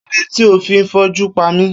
Kilode ti o fi n foju pami?